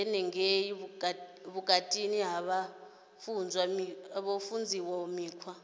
henengei vhutukani vha funzwa mikhwa